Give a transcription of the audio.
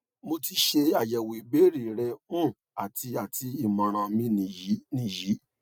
mo ti se ayewo ibeere re um ati eti imoran mi niyi niyi